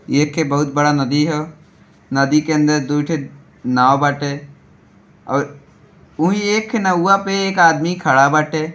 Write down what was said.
येके बहुत बड़ा नदी है। नदी के अंदर दू ठो नाउ बाटे और उ एक नौवा पे एक आदमी खड़ा बाटे।